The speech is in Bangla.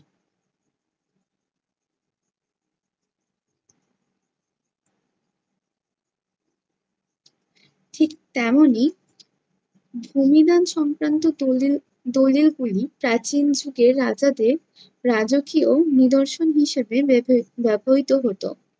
ঠিক তেমনই ভূমিদান সংক্রান্ত দলিল~ দলিলগুলি প্রাচীন যুগের রাজাদের রাজকীয় নিদর্শন হিসেবে ব্যব~ ব্যবহৃত হতো।